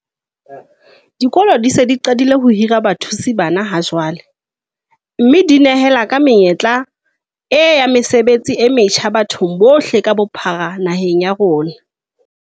Dikolo di se di qadile ho hira bathusi bana ha jwale, mme di nehela ka menyetla e ya mesebetsi e metjha bathong bohle ka bophara naheng ya rona.